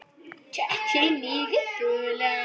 Takk fyrir mig að þola.